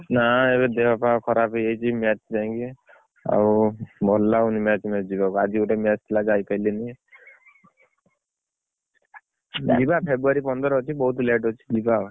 ନା ଏଇ ଦେହପାଆ ଖରାପ ହେଇଯାଇଛି match ପାଇଁକି ଆଉ ଭଲ ଲାଗୁନି match match ଯିବାକୁ, ଆଜି ଗୋଟେ match ଥିଲା ଯାଇପାଇଲିନି। ଯିବା February ପନ୍ଦର ଅଛି ବହୁତ୍ late ଅଛି ଯିବ ଆଉ।